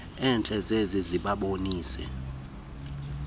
entle zize zibabonise